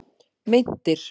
Meintir